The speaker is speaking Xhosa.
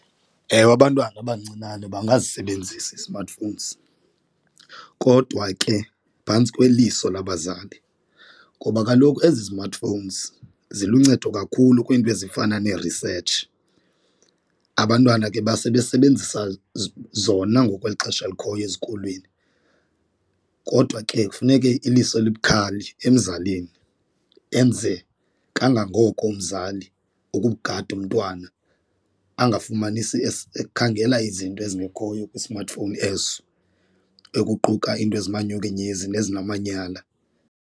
Ewe, abantwana abancinane bangasebenzisi ii-smartphones kodwa ke phantsi kweliso lwabazali ngoba kaloku ezi smartphones ziluncedo kakhulu kwiinto ezifana nee-research, abantwana ke basebesebenzisa zona ngoku kweli xesha likhoyo ezikolweni. Kodwa ke kufuneke iliso elibukhali emzalini enze kangangoko umzali ukugada umntwana angafumanisi ekhangela izinto ezingekhoyo kwi-smartphone eso ekuquka into ezimanyukunyezi nezinamanyala.